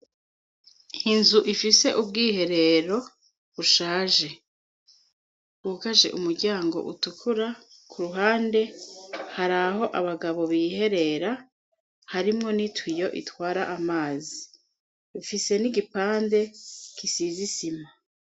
Inzu ifise ubwiherero bushaje; bwugaje umuryango utukura ku ruhande; hari aho abagabo biherera harimo n'itwiyo itwara amazi. Ifise n'igipande gisize isima.